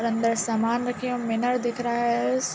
और अंदर सामान रखे हैं और मीनर दिख रहा है। स --